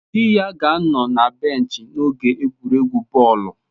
Di ya ga-anọ na benchi n'oge egwuregwu bọọlụ